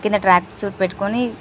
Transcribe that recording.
కింద track suit పెట్టుకొని--